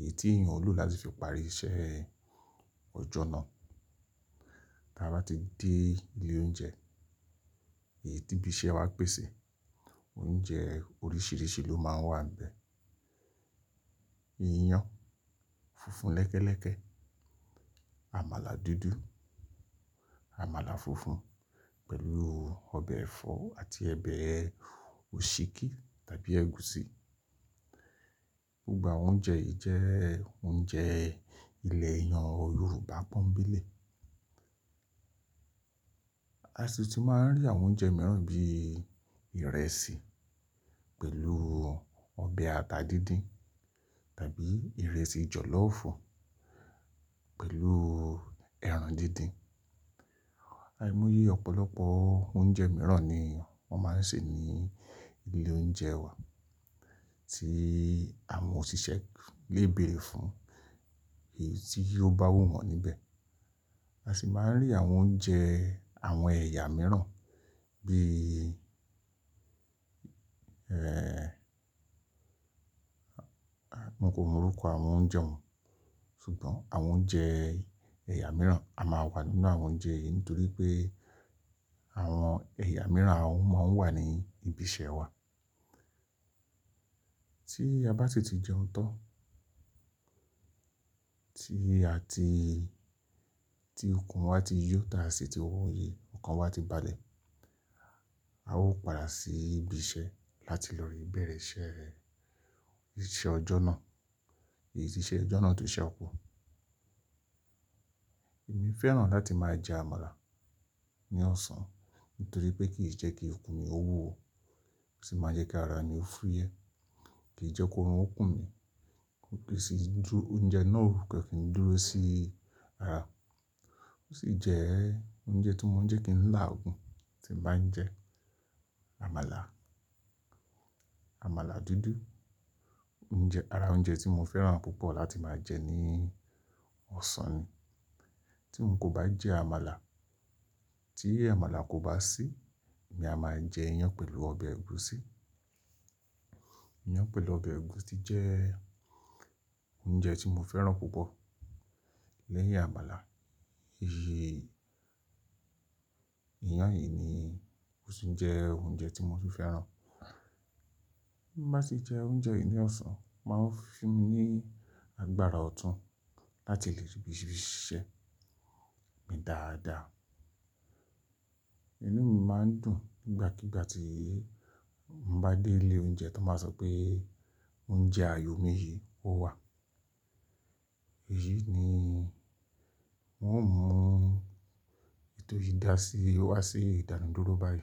èyí tí èèyàn ò lò láti fi parí iṣẹ́ ọjọ́ náà. Bí a bá ti dé ilé oúnjẹ, èyí tí ibi iṣẹ́ wa ń pèsè, oúnjẹ oríṣìíríṣìí ló máa ń wà níbẹ̀. Iyán funfun lẹ́kẹ́lẹ́kẹ́, àmàlà dúdú, àmàlà funfun pẹ̀lú ọbẹ̀ ẹ̀fọ́ àti obẹ òsíkí tàbí ẹ̀gúsí. Gbogbo àwọn oúnjẹ yìí jẹ́ oúnjẹ ilẹ̀ èyàn Yorùbá pọ́ńbélé. A sì ti máa ń rí àwọn oúnjẹ mìíràn bí i ìrẹsì pẹ̀lú ọbẹ̀ ata díndín tàbí ìrẹsì jọ̀lọ́fù pẹ̀lú ẹran díndín. Àìmoyé ọ̀pọ̀lọpọ̀ oúnjẹ mìíràn ni wọ́n máa ń ṣe ní ilé oúnjẹ wa tí àwọn òṣìṣẹ́ lé bere fún èyí tí yóò bá wù wọ́n níbẹ̀. A sì máa ń rí àwọn oúnjẹ àwọn ẹ̀yà mìíràn bí-- àwọn kò mọ orúkọ àwọn oúnjẹ wọn ṣùgbọ́n àwọn oúnjẹ ẹ̀yà mìíràn a máa wà nínú àwọn oúnjẹ yìí nítorí pé àwọn ẹ̀yà mìíràn àwọn ọmọ wà ní ibi iṣẹ́ wa. Tí a bá si ti ti jẹun tán, tí a ti-- tí ikùn wa ti yọ̀ tá a sì ti wọ̀nyẹ, ọkàn wa ti balẹ̀, a ó padà sí ibi iṣẹ́ láti lọ re bẹ̀rẹ̀ iṣẹ́ ọjọ́ náà, èyí tí iṣẹ́ ọjọ́ náà tó ṣẹ́kù. Èmi fẹ́ràn láti máa jẹ àmàlà ní ọ̀sán nítorí pé kì í jẹ́ kí ikùn mi ó wò ó sì máa jẹ́ kí ara mi ó fúyẹ́, kì í jẹ́ kó rán ikùn mi, ó kì í sì dúró, oúnjẹ náà ò rù kẹ́kẹ́ fi dúró sí ara. Ó sì jẹ́ oúnjẹ tí mo ń jẹ́ kì í ń lá ogùn tí mo bá ń jẹ àmàlà. Àmàlà dúdú jẹ́ ara oúnjẹ tí mo fẹ́ràn púpọ̀ láti máa jẹ ní ọ̀sán ni. Tí n kò bá jẹ àmàlà, tí àmàlà kò bá sí, èmi a máa jẹ iyán pẹ̀lú ọbẹ̀ ẹ̀gúsí. Iyán pẹ̀lú ọbẹ̀ ẹ̀gúsí jẹ́ oúnjẹ tí mo fẹ́ràn púpọ̀ lẹ́yìn àmàlà. Iyán yìí ni ó sì ń jẹ́ oúnjẹ tí mo sì fẹ́ràn. Bí mo bá ti jẹ oúnjẹ yìí ní ọ̀sán, máa ń fi mí ní agbára ọ̀tún láti lè ṣíbi ṣíṣẹ́ mi dáadáa. Inú mi máa ń dùn nígbàkígbà tí mo bá dé ilé oúnjẹ tan ba sọ pé oúnjẹ ààyò mi yìí ó wà. Èyí ni n ó mú ètò yìí dà sí wá sí ìdànù dúró báyìí.